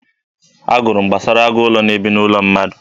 Agụrụ m gbasara agụ ụlọ na-ebi n'ụlọ mmadụ.